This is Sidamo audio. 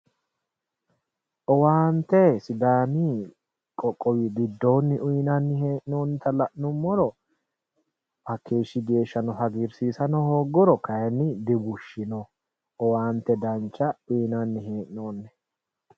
Owaante sidaami qoqqowi giddonni uyinnanni hee'nonnitta la'nuummoro hakeeshshi geeshshano hagiirsiisano hooguro kayinni dibushino owaante dancha uyinanni hee'noonni.